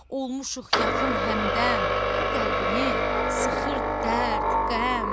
Olmüşük yaxın həmdəm, qəlbimi sıxır dərd, qəm.